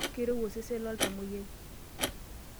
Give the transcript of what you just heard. Keirowua osesen loltamwoyiai.